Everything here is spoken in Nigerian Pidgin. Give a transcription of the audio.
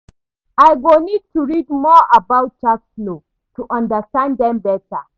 I go need to read more about tax laws, to understand them better